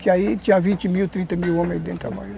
Que aí tinha vinte mil, trinta mil homens aí dentro trabalhando.